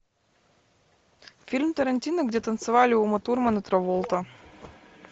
фильм тарантино где танцевали ума турман и траволта